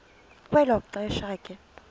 kwelo xesha ke